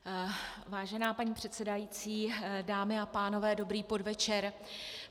Vážená paní předsedající, dámy a pánové, dobrý podvečer.